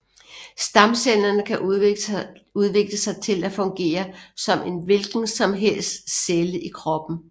Stamcellerne kan udvikle sig til at fungere som en hvilken som helst celle i kroppen